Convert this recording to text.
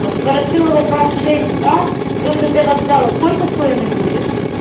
а с ворошилова двадцать шесть а до жд вокзала сколько стоимость будет